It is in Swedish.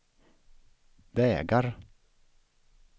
vägar